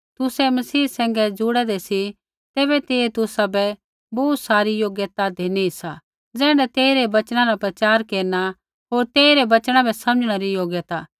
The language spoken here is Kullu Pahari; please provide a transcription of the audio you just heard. तुसै मसीह सैंघै जुड़ेदै सी तैबै तेइयै तुसाबै बोहू सारी योग्यता धिनी सा ज़ैण्ढै तेइरै वचना रा प्रचार केरना होर तेइरै वचना बै समझणै री योग्यता